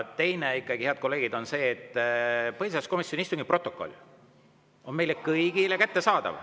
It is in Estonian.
Teine asi ikkagi, head kolleegid, on see, et põhiseaduskomisjoni istungi protokoll on meile kõigile kättesaadav.